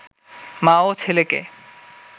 মা ও ছেলেকে